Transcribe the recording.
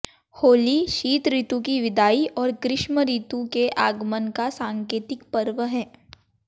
होली शीत ऋतु की विदाई और ग्रीष्म ऋतु के आगमन का सांकेतिक पर्व है